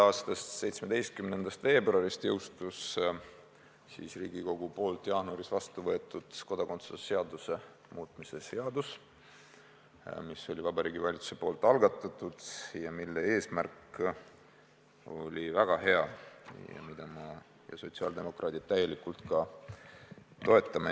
a 17. veebruaril jõustus Riigikogus jaanuaris vastu võetud kodakondsuse seaduse muutmise seadus, mis oli Vabariigi Valitsuse algatatud ja mille eesmärk oli väga hea ja mida me, sotsiaaldemokraadid täielikult ka toetame.